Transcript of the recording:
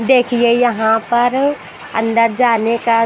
देखिए यहाँ पर अंदर जाने का--